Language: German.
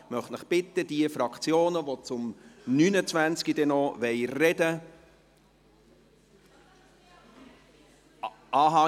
Ich möchte die Fraktionen, die zum Traktandum Nr. 29 noch sprechen wollen, bitten …